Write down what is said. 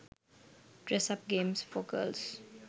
dress up games for girls